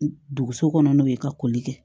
Duguso kɔnɔ n'o ye ka koli kɛ